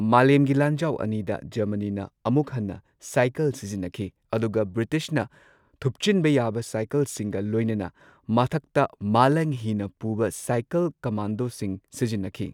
ꯃꯥꯂꯦꯝꯒꯤ ꯂꯥꯟꯖꯥꯎ ꯑꯅꯤꯗ ꯖꯔꯃꯅꯤꯅ ꯑꯃꯨꯛ ꯍꯟꯅ ꯁꯥꯏꯀꯜ ꯁꯤꯖꯤꯟꯅꯈꯤ, ꯑꯗꯨꯒ ꯕ꯭ꯔꯤꯇꯤꯁꯅ ꯊꯨꯞꯆꯤꯟꯕ ꯌꯥꯕ ꯁꯥꯏꯀꯜꯁꯤꯡꯒ ꯂꯣꯏꯅꯅ ꯃꯊꯛꯇ ꯃꯥꯂꯪꯍꯤꯅ ꯄꯨꯕ ꯁꯥꯏꯀꯜ ꯀꯃꯥꯟꯗꯣꯁꯤꯡ ꯁꯤꯖꯤꯟꯅꯈꯤ꯫